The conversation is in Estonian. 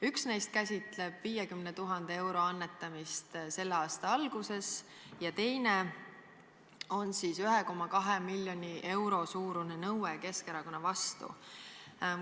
Üks neist käsitleb 50 000 euro annetamist selle aasta alguses ja teine on 1,2 miljoni euro suurune nõue Keskerakonna vastu.